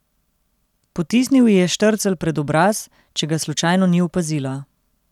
Potisnil ji je štrcelj pred obraz, če ga slučajno ni opazila.